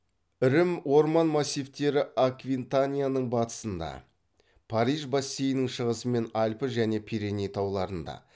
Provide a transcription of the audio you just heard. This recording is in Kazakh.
ірім орман массивтері аквитанияның батысында париж бассейнінің шығысы мен альпі және пиреней тауларында